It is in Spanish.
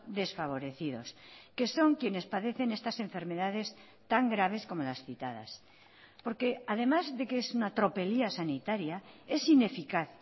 desfavorecidos que son quienes padecen estas enfermedades tan graves como las citadas porque además de que es una tropelía sanitaria es ineficaz